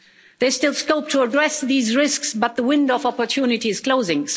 There's still scope to address these risks, but the window of opportunity is closing.